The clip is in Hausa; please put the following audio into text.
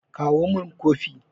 kawo min Kofi!